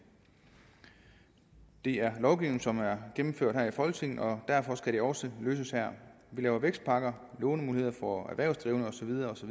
det er lovgivning som er gennemført her i folketinget og derfor skal det også løses her vi laver vækstpakker lånemuligheder for erhvervsdrivende og så videre osv